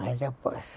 Mais depois.